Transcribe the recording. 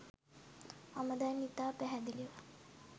මම දැන් ඉතා පැහැදිලිව